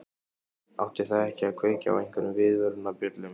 Átti það ekki að kveikja á einhverjum viðvörunarbjöllum?